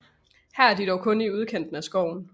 Her er de dog kun i udkanten af skoven